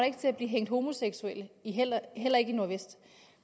ikke til at blive hængt homoseksuelle heller heller ikke i nordvest